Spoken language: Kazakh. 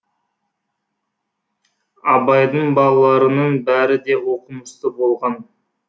абайдың балаларының бәрі де оқымысты болған